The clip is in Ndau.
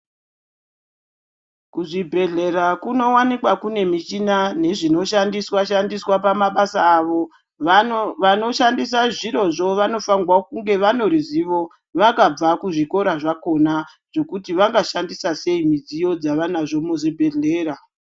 Kuzvibhedhlera kunowanikwa kune michina nezvinoshandiswa shandiswa pamabasa avo vanoshandisa zviro zvo vanofana kunge vane ruzivo vakabva kuzvikora zvakona zvekuti vangashandisa sei midziyo dzavanazvo muzvibhedhlera.